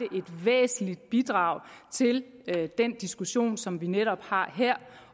væsentligt bidrag til den diskussion som vi netop har her